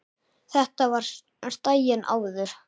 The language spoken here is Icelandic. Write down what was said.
Að þetta var daginn áður.